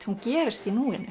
hún gerist í núinu